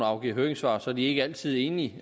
afgiver høringssvar er de ikke altid enige